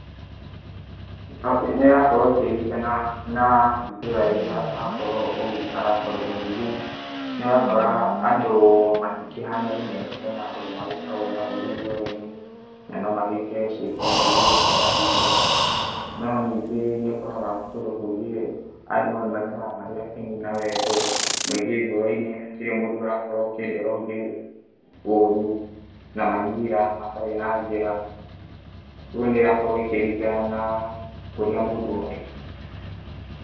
Nĩ ĩrakorwo ĩkĩrigana na itũra rĩria ũrakorwo ũgĩikara tondũ ningĩ nĩ ũrakora andũ matĩkĩhanaine ,hena andũ magĩkoragwo na ũrũ ngoro-inĩ na no magĩke ciako njũrũ kũrĩ ciana citũ, no ningĩ nĩ ũkoraga kũndũ kũngĩ andũ maikaraga marĩ akenu na wendo mwingĩ ngoro-inĩ hatirĩ mũndũ ũrakorwo akĩendera ũngĩ ũru na manyira matarĩ na njĩra ũgũo nĩ ĩrakorwo ĩkĩrigana na kũria mũndũ arĩ.